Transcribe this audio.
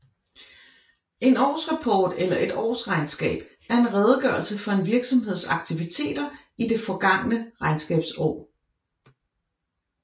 En årsrapport eller et årsregnskab er en redegørelse for en virksomheds aktiviteter i det forgangne regnskabsår